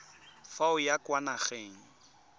fa o ya kwa nageng